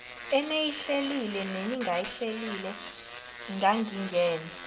eniyihlelile neningayihlelile kangingene